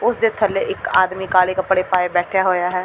ਉਸ ਦੇ ਥੱਲੇ ਇੱਕ ਆਦਮੀ ਕਾਲੇ ਕੱਪੜੇ ਪਾਏ ਬੈਠਿਆ ਹੋਇਆ ਹੈ।